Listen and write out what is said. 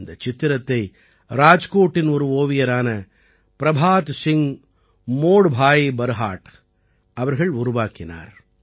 இந்தச் சித்திரத்தை ராஜ்கோட்டின் ஒரு ஓவியரான प्रभात सिंग मोडभाई बरहाट பிரபாத் சிங் மோட்பாய் பர்ஹாட் அவர்கள் உருவாக்கினார்